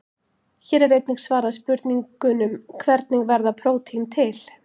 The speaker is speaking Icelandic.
Hér er einnig svarað spurningunum: Hvernig verða prótín til?